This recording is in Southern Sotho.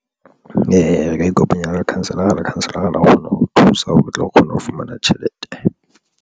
Re ka ikopanya le lekhanselara, lekhanselara la kgona ho thusa hore re tlo kgona ho fumana tjhelete.